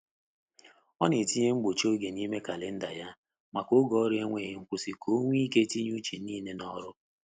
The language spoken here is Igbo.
Ọ na etinye mgbochi oge n'ime kalenda ya, maka oge ọrụ nweghi nkwụsi ka onwe ike tinye uche niile n’ọrụ.